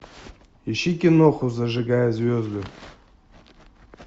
ищи киноху зажигая звезды